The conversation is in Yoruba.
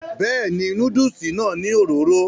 bẹ́ẹ̀ni, núdùsì náà ní òróró